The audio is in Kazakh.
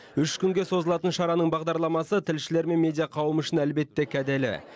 үш күнге созылатын шараның бағдарламасы тілшілер мен медиа қауымы үшін әлбетте кәделі